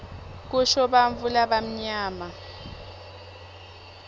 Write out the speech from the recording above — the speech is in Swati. kusho bantfu labamnyama